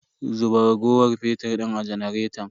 Zuba raguwar fetir din a janaretan.